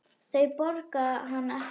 Þau borga hann ekki.